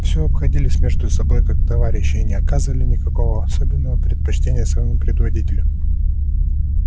всё обходились между собою как товарищи и не оказывали никакого особенного предпочтения своему предводителю